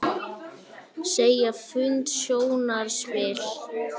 Segja fund sjónarspil